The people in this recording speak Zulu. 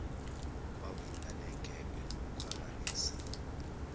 kwavula negebe lokukhwabanisa